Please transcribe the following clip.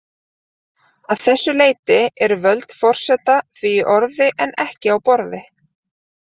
Að þessu leyti eru völd forseta því í orði en ekki á borði.